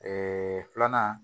filanan